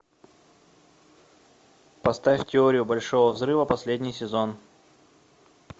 поставь теорию большого взрыва последний сезон